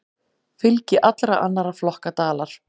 Fylgi allra annarra flokka dalar.